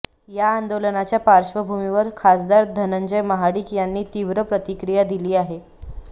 या आंदोलनाच्या पार्श्वभूमीवर खासदार धनंजय महाडीक यांनी तीव्र प्रतिक्रिया दिली आहे